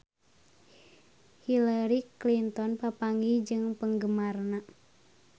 Hillary Clinton papanggih jeung penggemarna